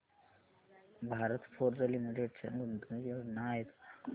Bharat forge limited च्या गुंतवणूक योजना आहेत का